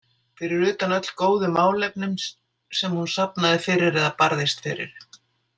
Fyrir utan öll góðu málefnin sem hún safnaði fyrir eða barðist fyrir.